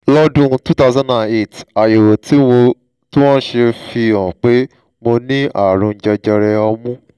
lọ́dún two thousand and eight àyẹ̀wò tí wọ́n ṣe fi hàn pé mo ní ààrùn jẹjẹrẹ ọmú